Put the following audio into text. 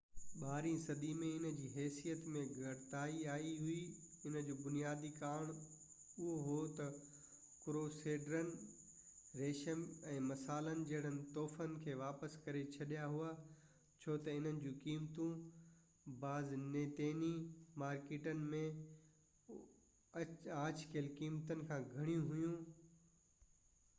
ٻارهين صدي ۾ ان جي حيثيت ۾ گهٽتائي آئي هئي ان جو بنيادي ڪارڻ اهو هو تہ ڪروسيڊرن ريشم ۽ مصالن جهڙن تحفن کي واپس ڪري ڇڏيا هئا ڇو تہ انهن جو قيمتون بازنطيني مارڪيٽن ۾ آڇ ڪيل قيمتن کان گهڻيون هويون